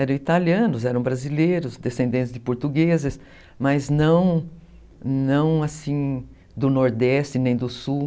Eram italianos, eram brasileiros, descendentes de portugueses, mas mas não não do nordeste nem do sul.